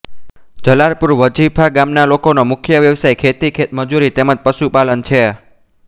જલાલપુર વજીફા ગામના લોકોનો મુખ્ય વ્યવસાય ખેતી ખેતમજૂરી તેમ જ પશુપાલન છે